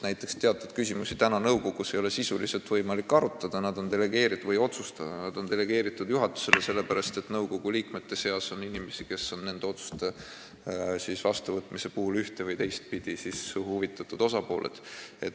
Näiteks ei ole teatud küsimusi praegu nõukogus sisuliselt võimalik otsustada, need on delegeeritud juhatusele, sest nõukogu liikmete seas on inimesi, kes nende otsuste vastuvõtmise puhul oleksid üht- või teistpidi huvitatud osapooled.